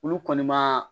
Olu kɔni ma